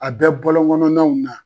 A bɛ bɔlɔngɔnɔnnaw na.